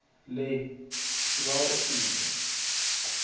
le sibawa usiphe